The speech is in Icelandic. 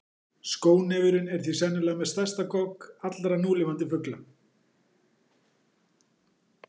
Skónefurinn er því sennilega með stærstan gogg allra núlifandi fugla.